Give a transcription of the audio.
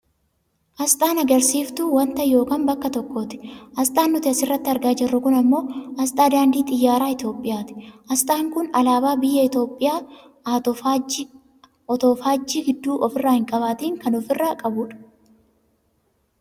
Aasxaan agarsiisftuu wanta yookaan bakka tokkooti. Aasxaan nuti asirratti argaa jirru kun ammoo aasxaa daandii xiyyaara Itoophiyaati. Aasxaan kun alaabaa Biyya Itoopiyaa otoo faajjii gidduu ofirraa hin qabaatiin kan ofirraa qabudha.